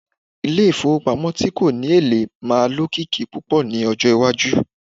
ile ifowopamo ti ko ni ele maa lokiki pupo ni ojo iwaju